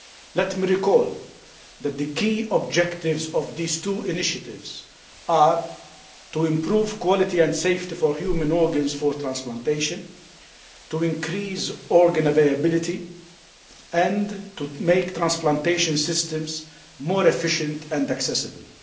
Let me recall that the key objectives of these two initiatives are to improve quality and safety for human organs for transplantation, to increase organ availability and to make transplantation systems more efficient and accessible.